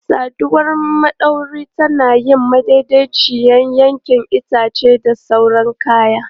Saduwar madauwari tana yin madaidaiciyar yanke itace da sauran kayan.